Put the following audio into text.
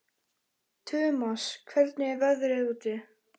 Tumas, hvernig er veðrið úti?